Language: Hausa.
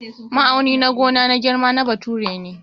Ma'auni na gona na girma na bature ne.